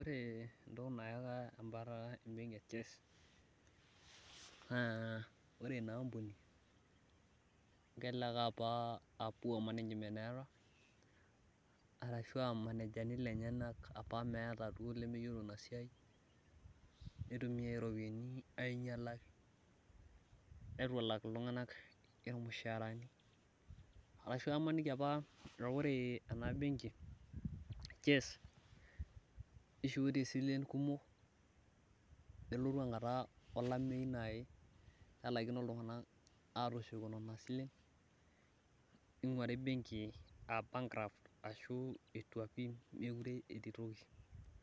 Ore entoki naake embatata ebenki e Chess, naa ore inaampuni kelelek apa a poor management eeta, arashua irmanejani lenyanak apa meeta duo lemeyiolo inasiai, nitumia ropiyiani ainyalaki, netu elak iltung'anak irmushaarani. Arashu aimaniki apa ah ore ena benki Chess, nishoitie silen kumok, nelotu enkata olameyu nai nelakino iltung'anak nai atushuko nena silen, ning'uari benki ah bankrupt ashu etua pi mekure etii toki.